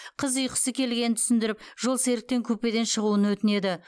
қыз ұйқысы келгенін түсіндіріп жолсеріктен купеден шығуын өтінеді